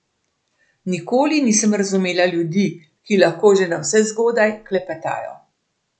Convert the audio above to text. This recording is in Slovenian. Nikoli nisem razumela ljudi, ki lahko že navsezgodaj klepetajo.